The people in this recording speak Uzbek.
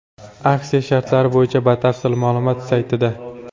Aksiya shartlari bo‘yicha batafsil ma’lumot saytida.